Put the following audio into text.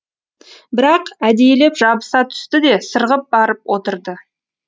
бірақ әдейілеп жабыса түсті де сырғып барып отырды